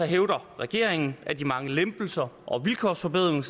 hævder regeringen at de mange lempelser og vilkårsforbedringer